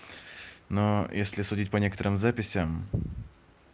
но если судить по некоторым записям